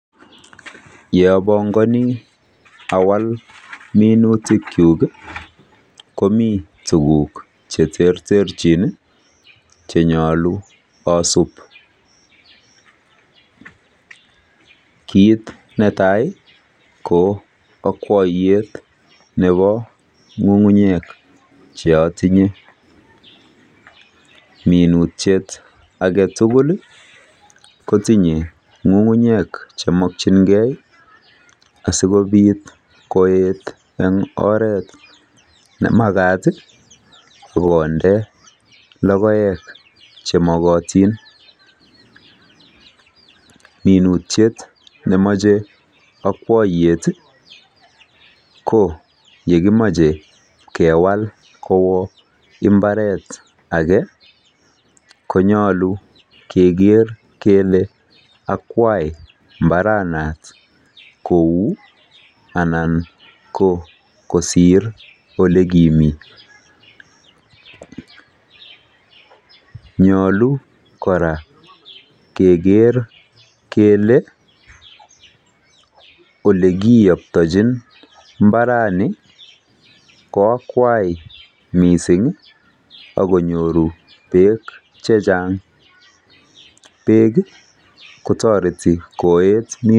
Yeabongani awal minutikchu komi tukuk che terterchin che nyolu asup. Kiit netai ko akwaiyet nebo ng'ung'unyek cheatinye. Minutiet agetukul ko tinyei ng'ungunyek che makchingei asikobik koek eng oret nemakat sikonde logoek chemakotin. Minutiet nemachei akwaiyet ko yekimachei kewal kowa mbaret age konyolu keker kele akwai mbaranat kou anan kosir alikimitei. Nyolu kora keker kele olekiyaptachin mbarani ko akwai mising akonyoru beek chechang. beek kotoreti koet.